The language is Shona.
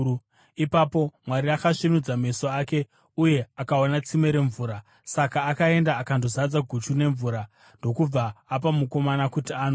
Ipapo Mwari akasvinudza meso ake uye akaona tsime remvura. Saka akaenda akandozadza guchu nemvura ndokubva apa mukomana kuti anwe.